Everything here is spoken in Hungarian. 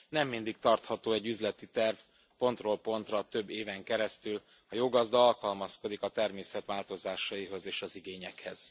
nem mindig tartható egy üzleti terv pontról pontra több éven keresztül, a jó gazda alkalmazkodik a természet változásaihoz és az igényekhez.